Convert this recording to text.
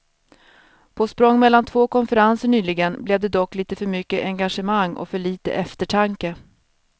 På språng mellan två konferenser nyligen blev det dock lite för mycket engagemang och för lite eftertanke.